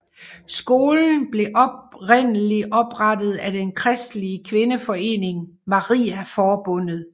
Skolen blev oprindelig oprettet af den kristelige kvindeforening Mariaforbundet